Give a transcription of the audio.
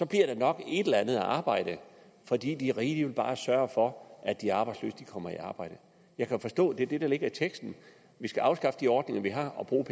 der nok et eller andet arbejde fordi de rige bare vil sørge for at de arbejdsløse kommer i arbejde jeg kan forstå at det er det der ligger i teksten at vi skal afskaffe de ordninger vi har og bruge